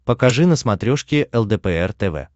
покажи на смотрешке лдпр тв